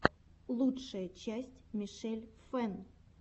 лучшая часть мишель фэн